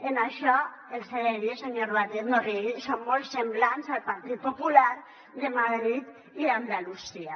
en això els he de dir senyor batet no rigui que són molt semblants al partit popular de madrid i d’andalusia